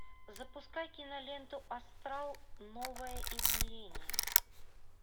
запускай киноленту астрал новое измерение